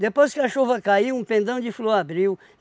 Depois que a chuva caiu, um pendão de flor abriu.